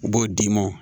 U b'o d'i ma